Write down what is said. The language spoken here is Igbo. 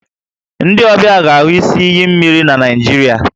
Ndị ọbịa ga-ahụ isi iyi mmiri na Nigeria